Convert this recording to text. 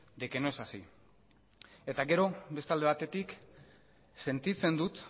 de que no es así eta gero beste alde batetik sentitzen dut